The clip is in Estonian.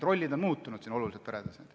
Rollid on peredes oluliselt muutunud.